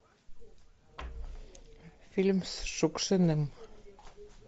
фильм с шукшиным